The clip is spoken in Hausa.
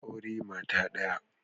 Aure mata daya.